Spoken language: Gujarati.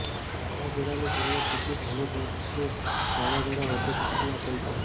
વાવાઝોડાની શરૂઆત જેટલી ધીમી તેટલું વાવાઝોડું વધુ ખતરનાક હોય છે